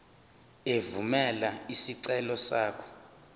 evumela isicelo sakho